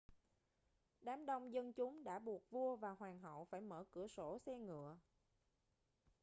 đám đông dân chúng đã buộc vua và hoàng hậu phải mở cửa sổ xe ngựa